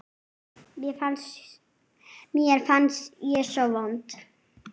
Mér fannst ég svo vond.